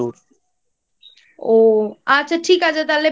ও আচ্ছা ঠিক আছে তাহলে